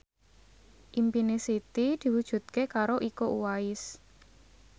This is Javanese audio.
impine Siti diwujudke karo Iko Uwais